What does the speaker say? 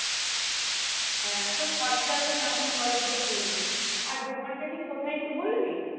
হ্যাঁ তো খরচা হয় তো কেমন পরে তুই তো বল্লি আর দোকান তা ঠিক কোথায় একটু বলবি